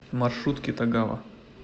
маршрут китагава